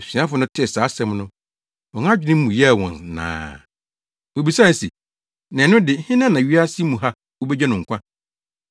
Asuafo no tee saa asɛm no, wɔn adwene mu yɛɛ wɔn naa. Wobisae se, “Na ɛno de, hena na wiase mu ha wobegye no nkwa?”